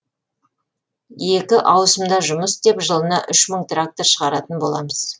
екі ауысымда жұмыс істеп жылына үш мың трактор шығаратын боламыз